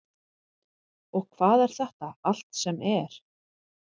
Og hvað er þetta allt sem er?